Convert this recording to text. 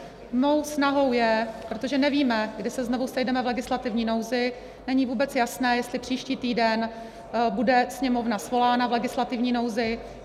Mou snahou je, protože nevíme, kdy se znovu sejdeme v legislativní nouzi, není vůbec jasné, jestli příští týden bude Sněmovna svolána v legislativní nouzi.